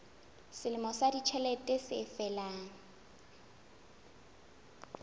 selemo sa ditjhelete se felang